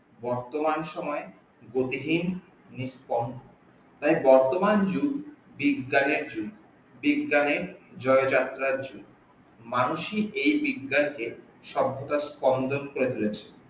বর্তমান সময় গতিহীন নিস্পন তাই বর্তমান যুগ বিজ্ঞানের যুগ বিজ্ঞানের জয় যাত্রার যুগ মানুষই এই বিজ্ঞানের কে সভ্যতার স্পন্দন করে তুলেছে